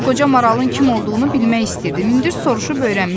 Mən o qoca maralın kim olduğunu bilmək istəyirdim, indi soruşub öyrənmişik.